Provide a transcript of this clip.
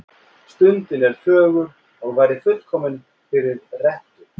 Stundin er fögur og væri fullkomin fyrir rettu.